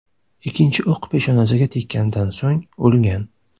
Ikkinchi o‘q peshonasiga tekkandan so‘ng, o‘lgan.